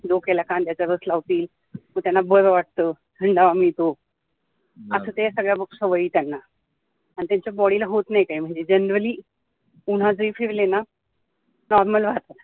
डोक्याला कांद्याचा रस लावतील मग त्यांना बरं वाटतं थंडावा मिळतो असा मग ते सवयी त्यांना आणि त्यांच्या body ला होत नाही काही त्यांना म्हणजे Generally उन्हातही फिरले ना normal वाटतं